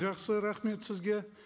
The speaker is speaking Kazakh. жақсы рахмет сізге